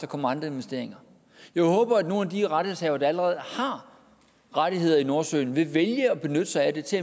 kommer andre investeringer jeg håber at nogle af de rettighedshavere der allerede har rettigheder i nordsøen vil vælge at benytte sig af det til